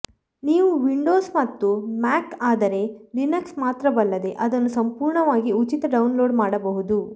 ನೀವು ವಿಂಡೋಸ್ ಮತ್ತು ಮ್ಯಾಕ್ ಆದರೆ ಲಿನಕ್ಸ್ ಮಾತ್ರವಲ್ಲದೆ ಅದನ್ನು ಸಂಪೂರ್ಣವಾಗಿ ಉಚಿತ ಡೌನ್ಲೋಡ್ ಮಾಡಬಹುದು